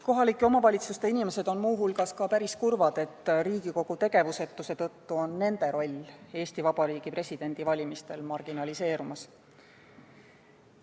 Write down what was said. Kohalike omavalitsuste inimesed on muu hulgas päris kurvad sellegi pärast, et Riigikogu tegevusetuse tõttu on nende roll Eesti Vabariigi presidendi valimistel marginaliseerumas.